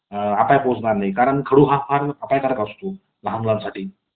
अपाय पोचणार नाही . कारण खडू हा फार अपायकारक असतो . लहानमुलांसाठी